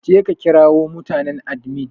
Je ka ƙirawo mutanen adimin!